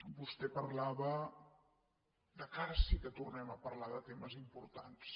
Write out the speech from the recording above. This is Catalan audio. vostè parlava que ara sí que tornem a parlar de temes importants